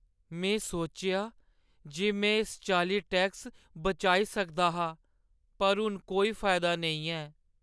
में सोचेआ जे में इस चाल्ली टैक्स बचाई सकदा हा, पर हून कोई फायदा नेईं ऐ।